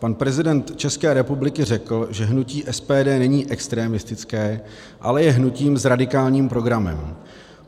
Pan prezident České republiky řekl, že hnutí SPD není extremistické, ale je hnutím s radikálním programem.